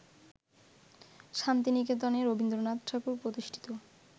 শান্তিনিকেতনে রবীন্দ্রনাথ ঠাকুর প্রতিষ্ঠিত